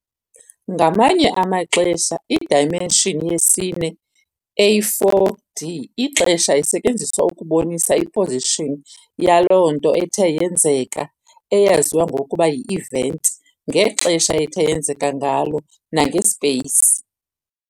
Ngamanye amaxesha i-dimention yesine, eyi-4D, ixesha, isetyenziswa ukubonisa i-position yaloo nto ethe yenzeka, eyaziwa ngokuba yi-event, ngexesha ethe yenzeka ngalo nange-space.